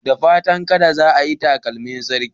Da fatan kada za ayi takalmin sarki